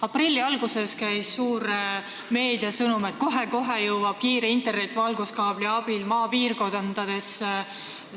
Aprilli alguses käis meediast läbi suur sõnum, et kohe-kohe jõuab kiire internet valguskaabli abil maapiirkondadesse.